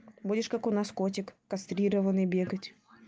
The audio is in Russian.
будешь как у нас котик кастрированный бегать